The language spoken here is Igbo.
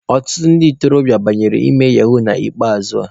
Ọtụtụ ndị ntorobịa banyere ime yahuu na nke ikpeazụ a.